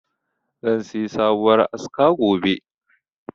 Zan siyi sabuwar aska gobe.